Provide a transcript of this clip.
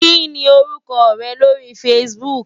Kí ni orúkọ rẹ lórí Facebook?